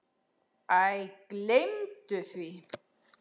Æ, gleymdu því.